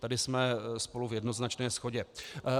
Tady jsme spolu v jednoznačné shodě.